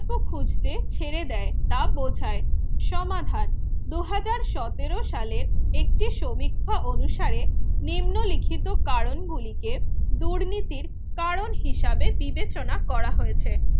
খুঁজতে ছেড়ে দেয় ছেড়ে দেয় সমাধান দুই হাজার সতেরো সালে একটি সমীক্ষা অনুসারে নিম্নলিখিত কারণ গুলি দুর্নীতির কারণ হিসেবে বিবেচনা করা হয়েছে